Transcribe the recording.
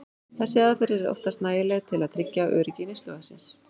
Þessi aðferð er oftast nægileg til að tryggja öryggi neysluvatnsins.